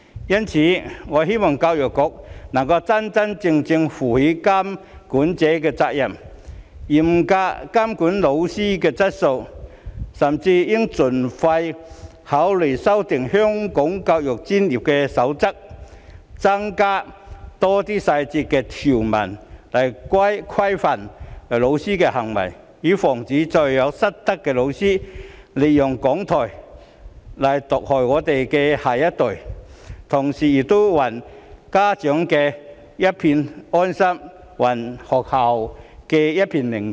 因此，我希望教育局能夠真真正正負起監管者的責任，嚴格監管教師的質素，甚至應盡快考慮修訂《香港教育專業守則》，加入更多詳細條文規範教師的行為，以防再有失德的教師利用講台毒害我們的下一代，同時也還家長一份安心、還學校一片寧靜。